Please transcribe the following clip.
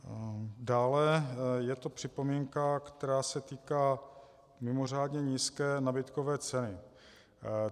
Dále je tu připomínka, která se týká mimořádně nízké nabídkové ceny.